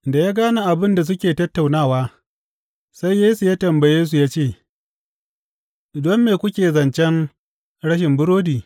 Da ya gane abin da suke tattaunawa, sai Yesu ya tambaye su ya ce, Don me kuke zancen rashin burodi?